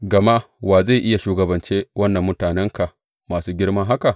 Gama wa zai iya shugabance wannan mutanenka masu girma haka?